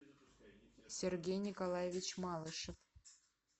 сергей николаевич малышев